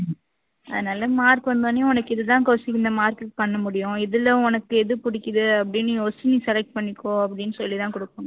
அதனால mark வந்தோன்னையும் உனக்கு இது தான் கௌஷிக் இந்த mark க்கு பண்ண முடியும். இதுல உனக்கு எது புடிக்குது அப்படின்னு யோசிச்சு நீ select பண்ணிக்கோ அப்படின்னு சொல்லி தான் கொடுக்கணும்